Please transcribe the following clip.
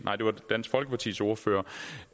var dansk folkepartis ordfører